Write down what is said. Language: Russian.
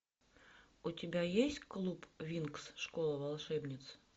у тебя есть клуб винкс школа волшебниц